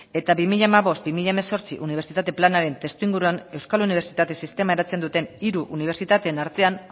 eta bi mila hamabost bi mila hemezortzi unibertsitate planaren testuinguruan euskal unibertsitate sistema eratzen duten hiru unibertsitateen artean